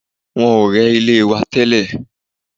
Wọ́n ò rẹ́ ilé wa tẹ́lẹ̀